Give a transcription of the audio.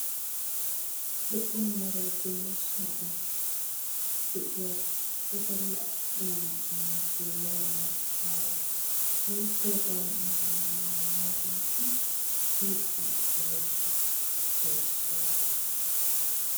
Lo''iya meray de'iyo sohuwan de'iya wodalla attuma na'aynne geela'o maacaara wolaytta wogaa maayuwa maayageti siiquwan kumi uttidosona issoy issuwara.